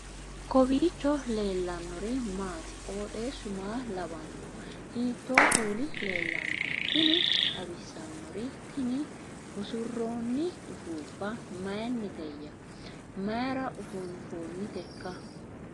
kowiicho leellannori maati ? qooxeessu maa lawaanno ? hiitoo kuuli leellanno ? tini xawissannori tini usurroonni ufuuffa mayinniteyya mayra ufuunfoonniteikka